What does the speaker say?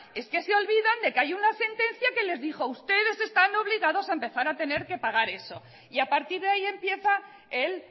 es que se olvidan de que hay una sentencia que les dijo ustedes están obligados a empezar a tener que pagar eso y a partir de ahí empieza el